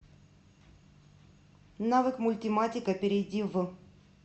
навык мультиматика перейди в